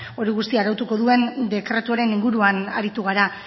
hori guztia arautuko duen dekretuaren inguruan aritu gara